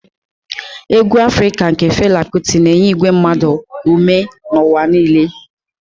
Egwu afrika nke Fela Kuti na-enye igwe mmadụ ume n'ụwa niile.